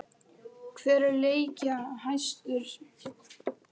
Hver er leikjahæstur?